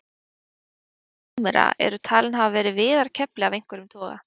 fyrstu hjól súmera eru talin hafa verið viðarkefli af einhverjum toga